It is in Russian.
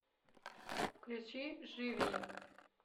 включи живи